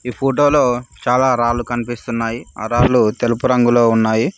ఫోటోలో చాలా రాళ్లు కనిపిస్తున్నాయి ఆ రాళ్లు తెలుపు రంగులో ఉన్నాయి.